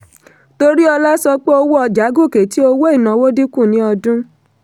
toriola sọ pé owó ọjà gòkè tí owó ìnáwó dínkù ní ọdún.